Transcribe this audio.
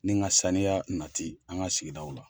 Ni ka saniya nati an ka sigidaw la